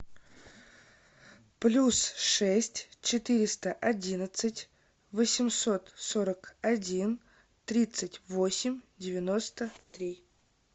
плюс шесть четыреста одиннадцать восемьсот сорок один тридцать восемь девяносто три